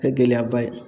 Kɛ gɛlɛyaba ye